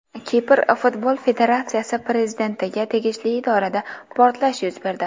Kipr futbol federatsiyasi prezidentiga tegishli idorada portlash yuz berdi.